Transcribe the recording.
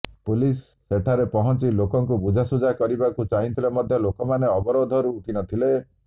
police ସେଠାରେ ପହଂଚି ଲୋକଙ୍କୁ ବୁଝାସୁଝା କରିବାକୁ ଚାହିଁଥିଲେ ମଧ୍ୟ ଲୋକମାନେ ଅବରୋଧରୁ ଉଠିନଥିଲେ